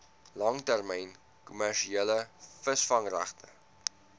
langtermyn kommersiële visvangregte